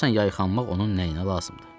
Görəsən yayxanmaq onun nəyinə lazımdır?